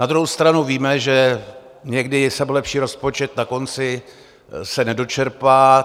Na druhou stranu víme, že někdy i sebelepší rozpočet na konci se nedočerpá.